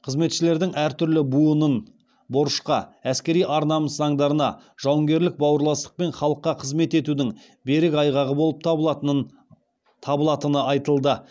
қызметшілердің әртүрлі буынын борышқа әскери ар намыс заңдарына жауынгерлік бауырластық пен халыққа қызмет етудің берік айғағы болып табылатыны айтылды